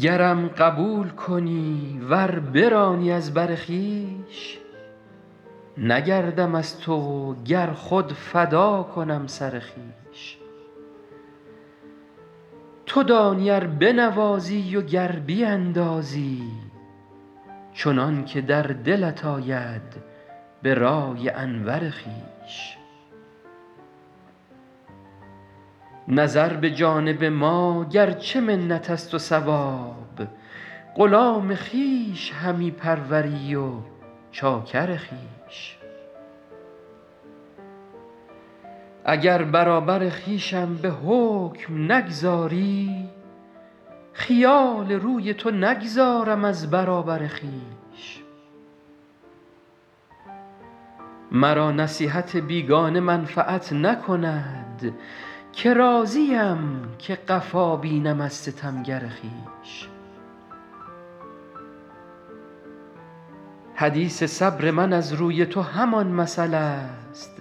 گرم قبول کنی ور برانی از بر خویش نگردم از تو و گر خود فدا کنم سر خویش تو دانی ار بنوازی و گر بیندازی چنان که در دلت آید به رأی انور خویش نظر به جانب ما گر چه منت است و ثواب غلام خویش همی پروری و چاکر خویش اگر برابر خویشم به حکم نگذاری خیال روی تو نگذارم از برابر خویش مرا نصیحت بیگانه منفعت نکند که راضیم که قفا بینم از ستمگر خویش حدیث صبر من از روی تو همان مثل است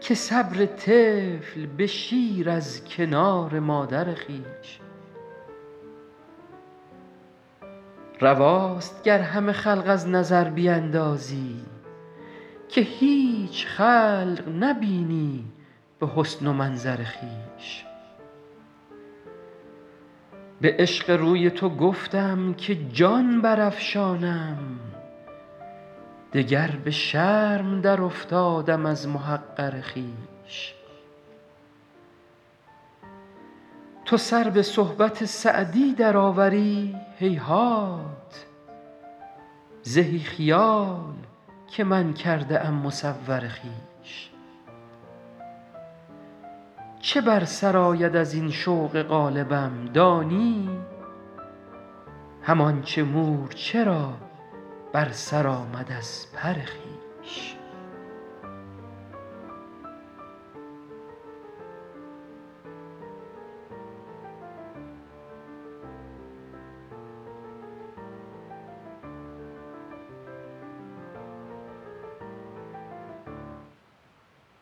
که صبر طفل به شیر از کنار مادر خویش رواست گر همه خلق از نظر بیندازی که هیچ خلق نبینی به حسن و منظر خویش به عشق روی تو گفتم که جان برافشانم دگر به شرم درافتادم از محقر خویش تو سر به صحبت سعدی درآوری هیهات زهی خیال که من کرده ام مصور خویش چه بر سر آید از این شوق غالبم دانی همان چه مورچه را بر سر آمد از پر خویش